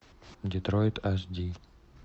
детроид аш ди